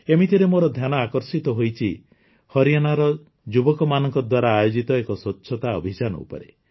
ଏମିତିରେ ମୋର ଧ୍ୟାନ ଆକର୍ଷିତ ହୋଇଛି ହରିୟାଣାର ଯୁବକମାନଙ୍କ ଦ୍ୱାରା ଆୟୋଜିତ ଏକ ସ୍ୱଚ୍ଛତା ଅଭିଯାନ ଉପରେ